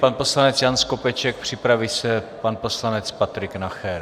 Pan poslanec Jan Skopeček, připraví se pan poslanec Patrik Nacher.